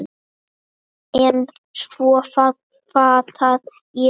En svo fattaði ég.